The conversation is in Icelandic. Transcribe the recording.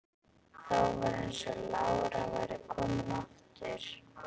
Þá var eins og lára væri komin aftur.